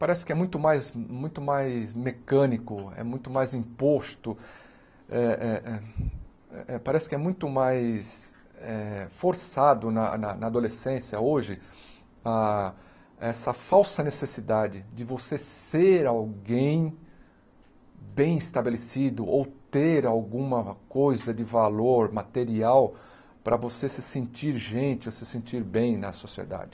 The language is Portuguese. Parece que é muito mais muito mais mecânico, é muito mais imposto, eh eh eh eh parece que é muito mais forçado na na na adolescência, hoje, ah essa falsa necessidade de você ser alguém bem estabelecido ou ter alguma coisa de valor material para você se sentir gente, se sentir bem na sociedade.